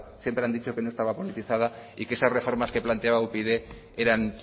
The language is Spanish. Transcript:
siempre han dicho que no estaba politizada y que esas reformas que planteaba upyd eran